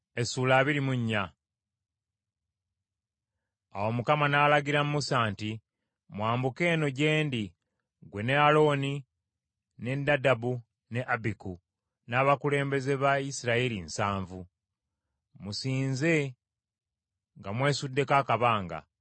Awo Mukama n’alagira Musa nti, “Mwambuke eno gye ndi, ggwe ne Alooni, ne Nadabu, ne Abiku, n’abakulembeze ba Isirayiri nsanvu. Musinze nga mwesuddeko akabanga,